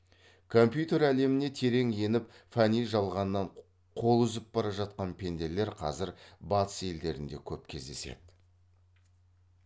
компьютер әлеміне терең еніп фәни жалғаннан қол үзіп бара жатқан пенделер қазір батыс елдерінде көп кездеседі